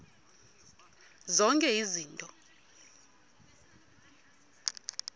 zonke izinto zaloo